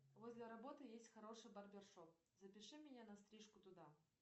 возле работы есть хороший барбершоп запиши меня на стрижку туда